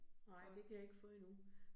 Nej, det kan jeg ikke få endnu